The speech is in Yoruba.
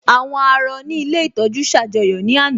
Àwọn àárọ̀ ní ilé ìtọ́jú ṣ'àjọyọ̀ ní àná